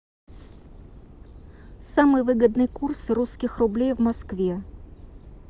самый выгодный курс русских рублей в москве